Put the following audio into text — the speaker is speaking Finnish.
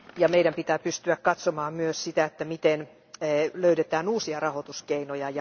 Meidän pitää pystyä katsomaan myös sitä, miten löydetään uusia rahoituskeinoja.